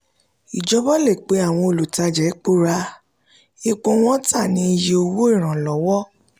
ìjọba le pe àwọn olùtajà epo ra epo wọn ta ní iye owó ìranlọ́wọ́.